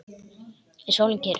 Er sólin kyrr?